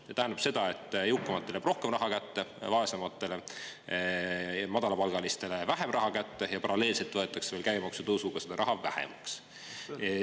See tähendab, et jõukamatele jääb rohkem raha kätte, vaesematele, madalapalgalistele, jääb vähem raha kätte ja paralleelselt võetakse veel käibemaksu tõusuga seda raha vähemaks.